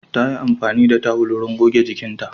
Ta yi amfani da tawul wurin goge jikinta.